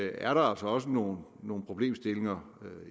er der altså også nogle nogle problemstillinger